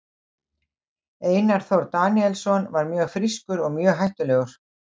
Einar Þór Daníelsson var mjög frískur og mjög hættulegur.